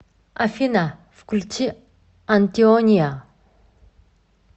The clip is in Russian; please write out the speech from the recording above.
афина включи антиония